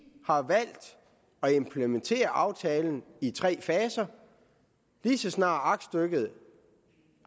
har valgt at implementere aftalen i tre faser lige så snart aktstykket